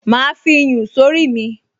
Màá fi iyùn sórí mi